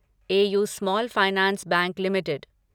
AU small finance bank limited